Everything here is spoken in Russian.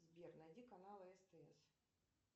сбер найди каналы стс